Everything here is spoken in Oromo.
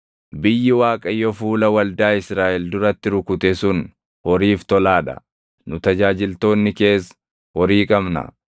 biyyi Waaqayyo fuula waldaa Israaʼel duratti rukute sun horiif tolaa dha; nu tajaajiltoonni kees horii qabna.